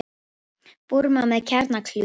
Búrma með kjarnakljúf